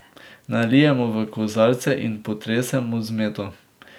Nalijemo v kozarce in potresemo z meto.